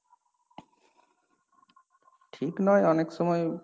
ঠিক নয় অনেক সময়,